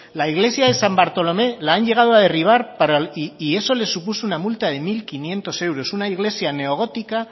la iglesia de san bartolomé han llegado a derribar y eso le supuso una multa de mil quinientos euros una iglesia neogótica